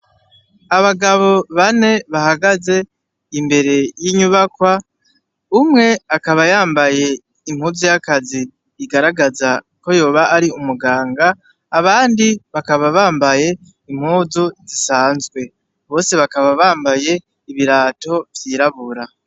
Abagabo bane bahagaze imbere y'inyubakwa, umwe akaba yambaye impuzu y'akazi igaragaza ko yoba ari umuganga ,abandi bakaba bambaye impuzu zisanzwe, bose bakaba bambaye ibirato vyirabura.